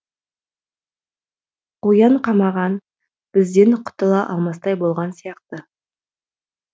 қоян қамаған бізден құтыла алмастай болған сияқты